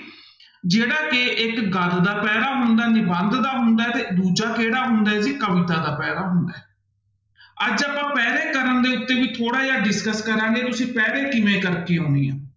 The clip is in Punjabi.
ਜਿਹੜਾ ਕਿ ਇੱਕ ਗਦ ਦਾ ਪੈਰ੍ਹਾ ਹੁੰਦਾ, ਨਿਬੰਧ ਦਾ ਹੁੰਦਾ ਹੈ ਤੇ ਦੂਜਾ ਕਿਹੜਾ ਹੁੰਦਾ ਹੈ ਜੀ ਕਵਿਤਾ ਦਾ ਪੈਰ੍ਹਾ ਹੁੰਦਾ ਹੈ ਅੱਜ ਆਪਾਂ ਪੈਰ੍ਹੈ ਕਰਨ ਦੇ ਉੱਤੇ ਵੀ ਥੋੜ੍ਹਾ ਜਿਹਾ discuss ਕਰਾਂਗੇ ਤੁਸੀਂ ਪੈਰ੍ਹੇ ਕਿਵੇਂ ਕਰਕੇ ਆਉਣੇ ਆ।